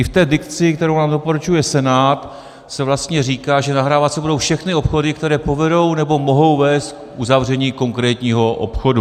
I v té dikci, kterou nám doporučuje Senát, se vlastně říká, že nahrávat se budou všechny obchody, které povedou nebo mohou vést k uzavření konkrétního obchodu.